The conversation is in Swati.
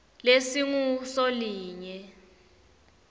lesingusolinye